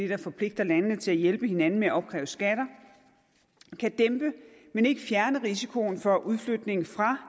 der forpligter landene til at hjælpe hinanden med at opkræve skatter dæmpe men ikke fjerne risikoen for udflytning fra